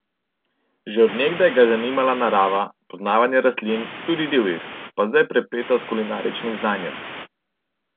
Že od nekdaj ga je zanimala narava, poznavanje rastlin, tudi divjih, pa zdaj prepleta s kulinaričnim znanjem.